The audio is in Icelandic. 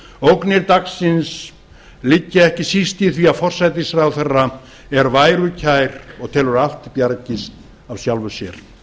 ógnir dagsins liggja ekki síst í því að forsætisráðherra er værukær og telur að allt bjargist af sjálfu sér